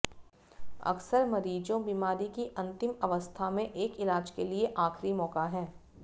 अक्सर मरीजों बीमारी की अंतिम अवस्था में एक इलाज के लिए आखिरी मौका है